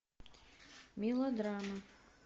мелодрама